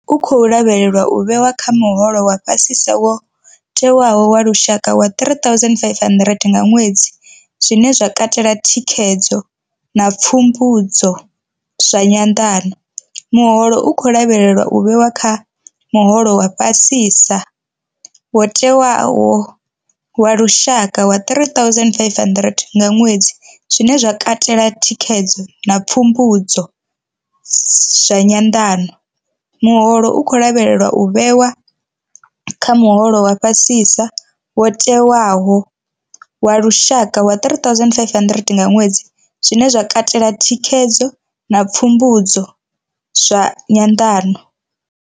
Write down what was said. U khou lavhelelwa u vhewa kha muholo wa fha sisa wo tewaho wa lushaka wa R3 500 nga ṅwedzi, zwine zwa katela thikhedzo na pfumbudzo zwa nyanḓano. Muholo u khou lavhelelwa u vhewa kha muholo wa fha sisa wo tewaho wa lushaka wa R3 500 nga ṅwedzi, zwine zwa katela thikhedzo na pfumbudzo zwa nyanḓano. Muholo u khou lavhelelwa u vhewa kha muholo wa fha sisa wo tewaho wa lushaka wa R3 500 nga ṅwedzi, zwine zwa katela thikhedzo na pfumbudzo zwa nyanḓano.